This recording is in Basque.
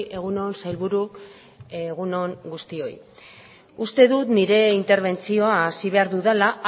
egun on sailburu egun on guztioi uste dut nire interbentzioa hasi behar dudala